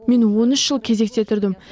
мен он үш жыл кезекте тұрдым